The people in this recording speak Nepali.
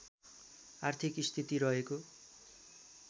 आर्थिक स्थिति रहेको